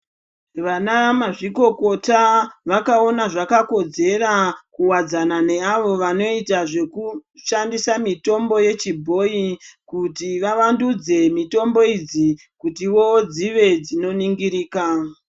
Vana ma zvikokota vakaona zvaka kodzera kuwadzana ne avo vanoita zveku shandisa mitombo ye chibhoyi kuti va wandudzi mitombo idzi kutivo dzive dzino ningirika.